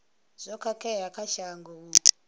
zwo khakhea kha shango u